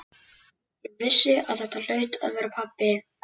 Ég vissi að þetta hlaut að vera pabbi.